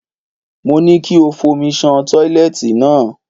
Mo ní kí o fomi ṣan tọ́ílẹ́ẹ̀tì náà.